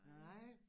Nej